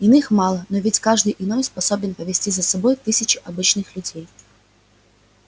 иных мало но ведь каждый иной способен повести за собой тысячи обычных людей